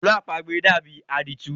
Àlọ́ àpamọ dàbí àdìtú.